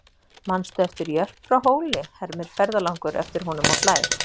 Manstu eftir Jörp frá Hóli, hermir ferðalangur eftir honum og hlær.